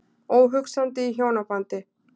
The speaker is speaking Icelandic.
Óhugsandi í hjónabandi.